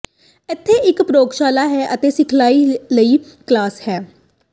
ਇਥੇ ਇੱਕ ਪ੍ਰਯੋਗਸ਼ਾਲਾ ਹੈ ਅਤੇ ਸਿਖਲਾਈ ਲਈ ਕਲਾਸ ਹੈ